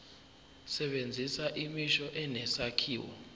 sebenzisa imisho enesakhiwo